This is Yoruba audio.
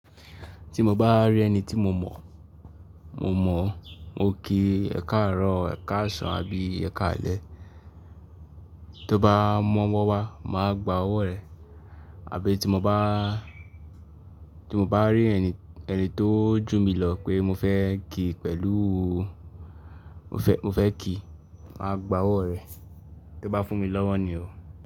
Tí mo bá rí ẹni tí mo mọ̀, mo ki ẹ̀kaàrún, ẹ̀kàásán àbí ẹ́ẹ̀kàálẹ́. Tó bá mọ́wọ́ wá, màá gba ọwọ́ rẹ̀. Àbí tí mo bá, tí mo bá rí ẹni, ẹni tó jù mí lọ pé mo fẹ́ kí pẹ̀lú o, mo fẹ́ kí, màá gba ọwọ́ rẹ̀. Tó bá fún mi lọ́wọ́ ni o.